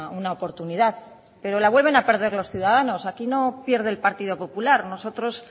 una oportunidad pero la vuelven a perder los ciudadanos aquí no pierde el partido popular nosotros